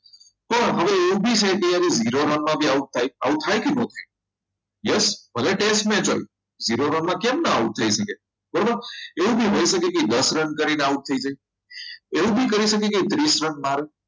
હવે એવું બી છે કે zero રનમાં આવું થાય આવું થાય કે નહીં યસ ભલે test match કેમ આવું ના થઈ શકે બરોબર એવું પણ હોઈ શકે કે દસ રન કરીને out થઈ જાય એવું બી કહી શકે કે ત્રીસ રન મારીને